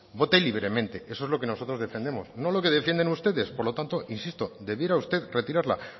vote libremente eso es lo que nosotros defendemos no que defienden ustedes por lo tanto insisto debiera usted retirarla